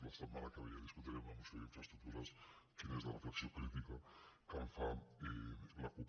la setmana que ve ja dis·cutirem la moció d’infraestructures quina és la refle·xió crítica que en fa la cup